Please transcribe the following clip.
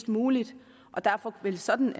muligt derfor vil sådan